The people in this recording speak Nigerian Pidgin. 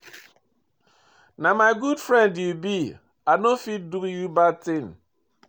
Na my good friend you be, I no fit do you bad thing.